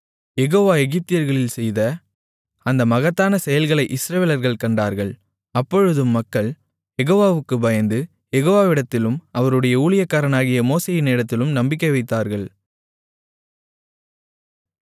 யெகோவா எகிப்தியர்களில் செய்த அந்த மகத்தான செயல்களை இஸ்ரவேலர்கள் கண்டார்கள் அப்பொழுது மக்கள் யெகோவாவுக்குப் பயந்து யெகோவாவிடத்திலும் அவருடைய ஊழியக்காரனாகிய மோசேயினிடத்திலும் நம்பிக்கை வைத்தார்கள்